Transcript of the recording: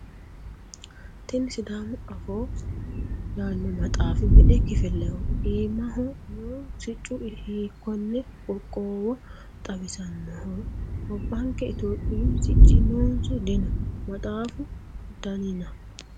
kuni sidaamu afoo yaanno maxaafi me"e kifileho? iimaho noohu siccu hiikkonne qoqqow xawisannoho? gobbanke itiyophiyu sicci noonso dino? maxaafu danina?